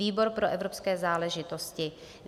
Výbor pro evropské záležitosti: